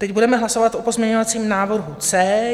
Teď budeme hlasovat o pozměňovacím návrhu C.